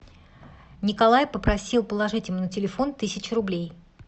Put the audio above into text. николай попросил положить ему на телефон тысячу рублей